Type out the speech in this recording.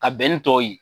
Ka bɛn ni tɔw ye